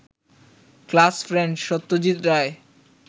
class friend Satyajit Roy